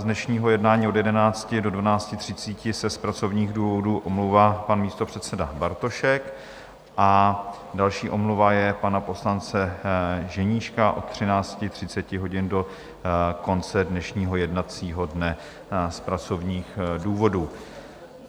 Z dnešního jednání od 11 do 12.30 se z pracovních důvodů omlouvá pan místopředseda Bartošek a další omluva je pana poslance Ženíška od 13.30 hodin do konce dnešního jednacího dne z pracovních důvodů.